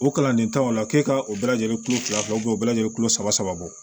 O kalanden tan o la k'e ka o bɛɛ lajɛlen kulo fila u bɛ bɛɛ lajɛlen kulo saba bɔ